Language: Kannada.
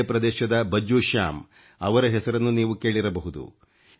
ಮಧ್ಯ ಪ್ರದೇಶದ ಭಜ್ಜೂ ಶ್ಯಾಮ್ ಅವರ ಹೆಸರನ್ನು ನೀವು ಕೇಳಿರಬಹುದು